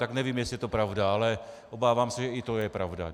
Tak nevím, jestli je to pravda, ale obávám se, že i to je pravda.